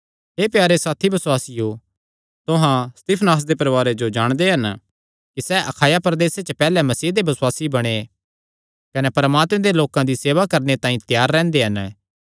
हे प्यारे साथी बसुआसियो तुहां स्तिफनास दे परवारे जो जाणदे हन कि सैह़ अखाया प्रदेसे च पैहल्ले मसीह दे बसुआसी बणैं कने परमात्मे दे लोकां दी सेवा करणे तांई त्यार रैंह्दे हन